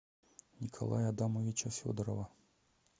николая адамовича федорова